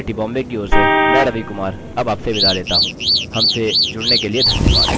यह स्किप्ट लता द्वारा अनुवादित है आईआईटी बॉम्बे की ओर से मैं रवि कुमार अब आपसे विदा लेता हूँ हमसे जुड़ने के लिए धन्यवाद